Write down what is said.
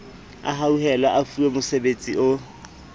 a hauhelwe a fuwemosebetsi o